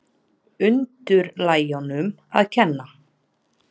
Undirlægjunum að kenna.